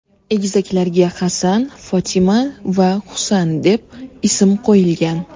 Egizaklarga Hasan, Fotima va Husan deb ism qo‘yilgan.